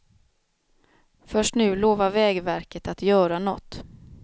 Först nu lovar vägverket att göra något.